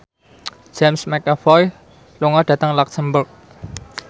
James McAvoy lunga dhateng luxemburg